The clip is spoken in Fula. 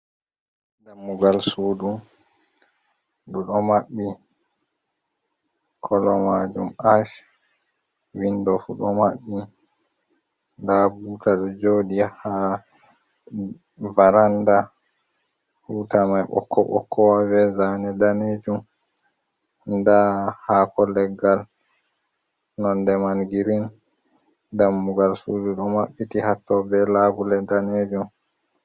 Ɗammugal suɗu, ɗuɗo mabbi. kolo majum ash. Windo fu ɗo mabbi. Nɗa buta ɗo joɗi ha varanɗa, butamai bokko bokko be zane ɗanejum. Nɗa hako leggal nonɗe man girin. Ɗammugal suɗu ɗo mabbiti hatto, be labule ɗanejum.